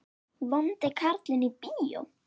Vondi karlinn í bíó?